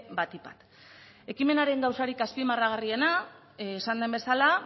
batik bat ekimenaren gauzarik azpimarragarriena esan den bezala